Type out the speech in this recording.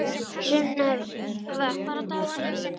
Sunnefa, hvað er á dagatalinu mínu í dag?